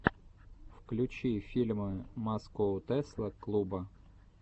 включи фильмы маскоу тесла клуба